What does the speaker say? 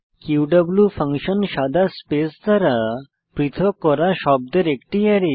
Q function সাদা space দ্বারা পৃথক করা শব্দের একটি অ্যারে